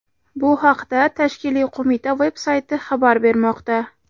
Bu haqda tashkiliy qo‘mita veb-sayti xabar bermoqda.